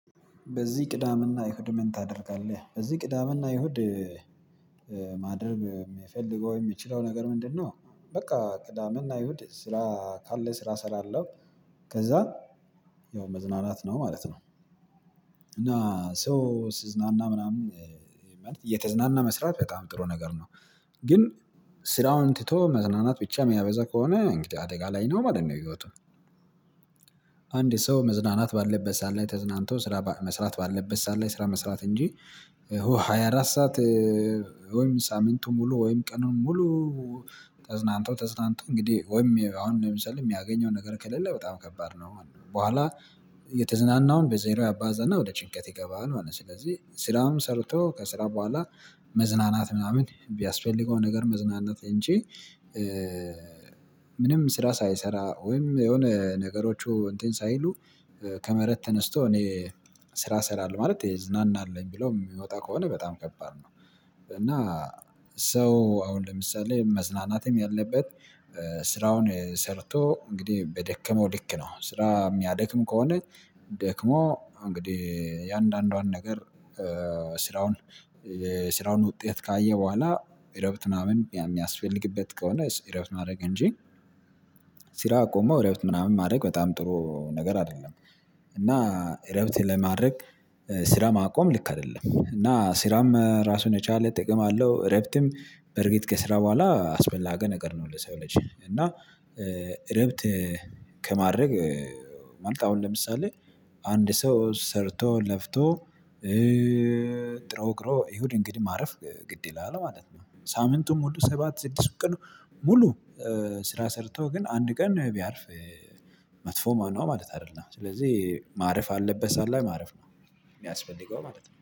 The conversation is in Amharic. በዚህ ቅዳሜና እሁድ ምን ታደርጋለህ? በዚህ ቅዳሜና እሁድ ማደርብ የሚፈልገው የምችለው ነገር ምንድነው? በቃ ቅዳሜና እሁድ ስራ ካለ ስራ ስላለው ከዛ ያው መዝናናት ነው ማለት ነው። እና ሶ ስዝናና ምናምን እየተዝናና መስራት በጣም ጥሩ ነገር ነው። ግን ስራውን ትቶ መዝናናት ብቻ የሚያበዛ ከሆነ እንግዲህ አደጋ ላይ ነው ማለት ነው። ህይወቱ አንድ ሰው መዝናናት ባለበት ሰዓት ላይ ተዝናንቶ ስራ መስራት ባለበት ሰዓት ላይ ስራ መስራት እንጂ ሃያ አራት ሰዓት። ወይም ሳምንቱን ሙሉ ወይም ቀኑን ሙሉ ተዝናንቶ ተዝናንቶ እንግዲህ ወይም አሁን ለምሳሌ የሚያገኘው ነገር ከሌለ በጣም ከባድ ነው። በኋላ የተዝናናውን በዜሮ ያባዛና ወደ ጭንቀት ይገባናል ማለት ነው። ስለዚህ ስራም ሰርቶ ከስራ በኋላ መዝናናት ምናምን ቢያስፈልገው ነገር መዝናናት እንጂ ምንም ስራ ሳይሰራ ወይም የሆነ ነገሮቹ እንትን ሳይሉ ከመሬት ተነስቶ እኔ ስራ እሰራለሁ ማለት እዝናናለሁኝ ብሎ የሚወጣ ከሆነ በጣም ከባድ ነው። እና ሰው አሁን ለምሳሌ መዝናናትም ያለበት ስራውን ሰርቶ እንግዲህ በደከመው ልክ ነው ስራ የሚያደክም ከሆነ ደክሞ እንግዲህ እያንዳንዷን ነገር ስራውን የስራውን ውጤት ካየ በኋላ እረፍት ምናምን የሚያስፈልግበት ከሆነ እረፍት ማድረግ እንጂ አቆሞ እረፍት ምናምን ማድረግ በጣም ጥሩ ነገር አይደለም። እና እረፍት ለማድረግ ስራ ማቆም ልክ አይደለም እና ስራም ራሱን የቻለ ጥቅም አለው እረፍትም በእርግጥ ከስራ በኋላ አስፈላጊ ነገር ነው። ለሰው ልጅ እና እረፍት ከማድረግ ማለት አሁን ለምሳሌ አንድ ሰው ሰርቶ ለፍቶ ጥሮ ግሮ እሁድ እንግዲህ ማረፍ ግድ ይላል ማለት ነው። ሳምንቱም ሁሉ ሰባት ስድስት ቀኑ ሙሉ ስራ ሰርቶ ግን አንድ ቀን ነው ቢያርፍ መጥፎ ማነው ማለት አይደለም። ስለዚህ ማረፍ ያለበት ሰዓት ላይ ማረፍ ነው የሚያስፈልገው ማለት ነው